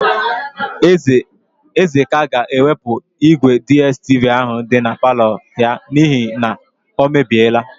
Ezeka ga-ewepụ ígwèDiestivi áhụ̀ dị na palọ ya n'ihi na o mebiela.